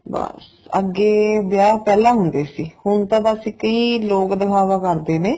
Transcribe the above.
ਬੱਸ ਅੱਗੇ ਵਿਆਹ ਪਹਿਲਾਂ ਹੁੰਦੇ ਸੀ ਹੁਣ ਤਾਂ ਬੱਸ ਇੱਕ ਹੀ ਲੋਕ ਦਿਖਾਵਾ ਕਰਦੇ ਨੇ